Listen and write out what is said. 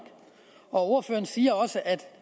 ordføreren siger også at